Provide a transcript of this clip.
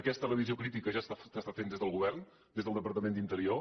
aquesta revisió crítica ja s’està fent des del govern des del departament d’interior